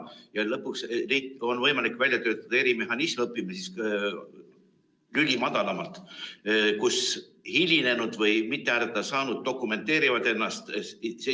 Ja lõpuks on võimalik välja töötada erimehhanism, õpime siis lüli madalamalt, nii et hilinenud või mitte hääletada saanud inimesed dokumenteerivad selle.